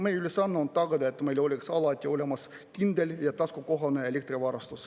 Meie ülesanne on tagada, et meil oleks alati olemas kindel ja taskukohane elektrivarustus.